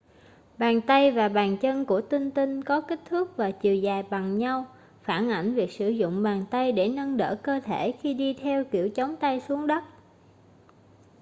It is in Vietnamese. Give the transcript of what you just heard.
bàn tay và bàn chân của tinh tinh có kích thước và chiều dài bằng nhau phản ảnh việc sử dụng bàn tay để nâng đỡ cơ thể khi đi theo kiểu chống tay xuống đất